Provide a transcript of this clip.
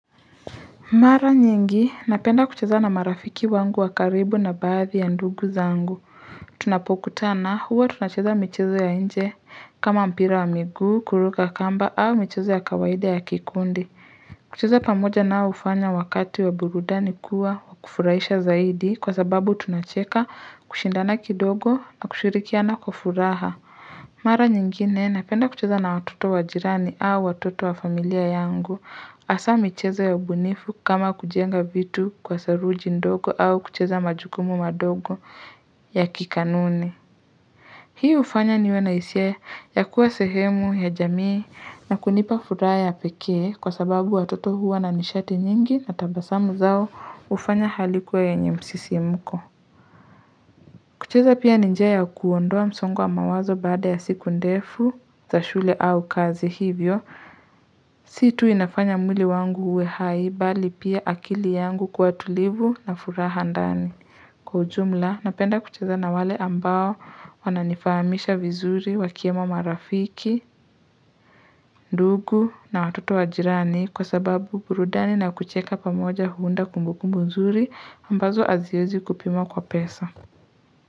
Mara nyingi, napenda kucheza na marafiki wangu wakaribu na baadhi ya ndugu zangu. Tunapokutana, huwa tunacheza michezo ya nje, kama mpira wa miguu, kuruka kamba, au michezo ya kawaida ya kikundi. Kucheza pamoja nao hufanya wakati wa burudani kuwa, wakufurahisha zaidi, kwa sababu tunacheka, kushindana kidogo, na kushirikiana kwa furaha. Mara nyingine napenda kucheza na watoto wajirani au watoto wa familia yangu hasamichezo ya ubunifu kama kujenga vitu kwa saruji ndogo au kucheza majukumu madogo ya kikanuni Hii hufanya niwe na hisia ya kuwa sehemu ya jamii na kunipa furaha pekee Kwa sababu watoto huwa na nishati nyingi na tabasamu zao hufanya hali kuwa yenye msisi mko kucheza pia ni njia ya kuondoa msongo wa mawazo baada ya siku ndefu za shule au kazi hivyo. Si tu inafanya mwili wangu uwe hai bali pia akili yangu kuwa tulivu na furaha ndani. Kwa ujumla, napenda kucheza na wale ambao wananifahamisha vizuri wakiwemo marafiki, ndugu na watoto wa jirani kwa sababu burudani na kucheka pamoja huunda kumbukumbu nzuri ambazo aziwezi kupimwa kwa pesa.